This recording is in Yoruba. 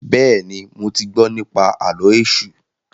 béèni mọ tí gbó nipa Àló̩ Èṣù.